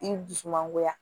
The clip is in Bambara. I dusu mangoya